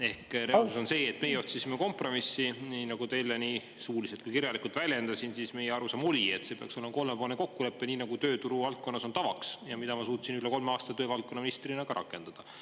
Ehk reaalsus on see, et meie otsisime kompromissi, nii nagu teile nii suuliselt kui kirjalikult väljendasin, siis meie arusaam oli, et see peaks olema kolmepoolne kokkulepe, nii nagu tööturuvaldkonnas on tavaks ja mida ma suutsin üle kolme aasta töövaldkonna ministrina ka rakendada.